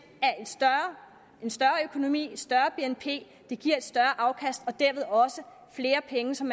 en større økonomi og et større bnp giver et større afkast og dermed også flere penge som